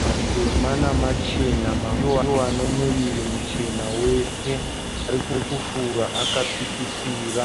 matema nemachena . Mamwewo ndoane muviri muchena wese. Ari kufura akatsikitsira.